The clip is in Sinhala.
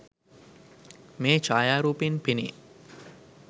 මේ ඡායාරූපයෙන් පෙනේ